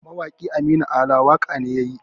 Mawaki Aminu Alan waƙa ne yayi